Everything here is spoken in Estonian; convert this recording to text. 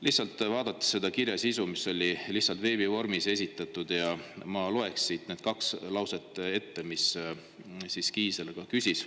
Lihtsalt vaatan selle kirja sisu, mis on veebis esitatud, ja ma loeks siit need kaks lauset ette, mida Kiisler küsis.